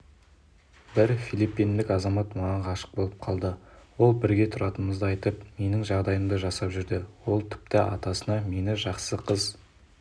бір филиппиндік азамат маған ғашық болып қалды ол бірге тұратынымызды айтып менің жағдайымды жасап жүрді ол тіпті мені ата-анасына жақсы қыз